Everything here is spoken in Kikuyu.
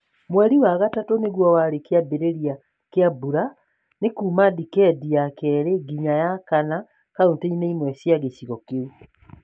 Mweri wa gatatũ nĩguo warĩ kĩambĩrĩria kĩa mbura. Nĩ kuuma dikedi ya kerĩ nginya ya kana kauntĩ-inĩ imwe cia gĩcigo kĩu.